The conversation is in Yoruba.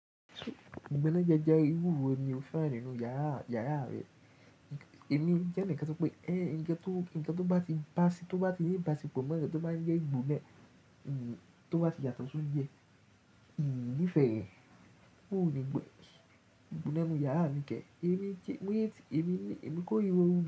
Gbogbo na je iwuwo ni o fe ninu yara yara re. Emi je ni nkan to pe, eh, nkan to, nkan to ba ti ba ti, to ba ti ni ibasepo pomowo lo to ma n je igbona, to ba ti yato si ounje ii ni fe re O ni gbo igbona mi yara mi ke. Emi ki, ti, emi ni, emi ko ri ohun.